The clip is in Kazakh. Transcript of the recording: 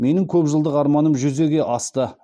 менің көпжылдық арманым жүзеге асты